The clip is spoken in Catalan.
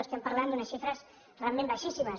estem parlant d’unes xifres realment baixíssimes